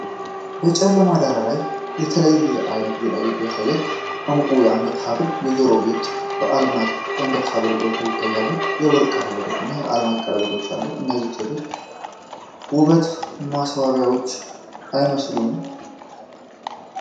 በጨለማ ዳራ ላይ የተለያየ ዓይነት ጌጣጌጦችን ያሳያል፤ ዕንቁ የአንገት ሐብል፣ የጆሮ ጌጦች፣ እና የአልማዝ የአንገት ሐብል ጎልተው ይታያሉ። የወርቅ ቀለበቶች እና የአልማዝ ቀለበቶችም አሉ፤ እነዚህ የሴቶች ውበት ማሳያዎች አይመስሉም?